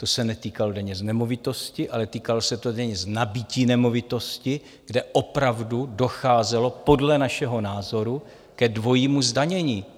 To se netýkalo daně z nemovitosti, ale týkalo se to daně z nabytí nemovitosti, kde opravdu docházelo podle našeho názoru ke dvojímu zdanění.